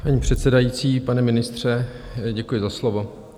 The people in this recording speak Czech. Paní předsedající, pane ministře, děkuji za slovo.